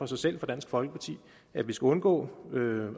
sig selv for dansk folkeparti at vi skal undgå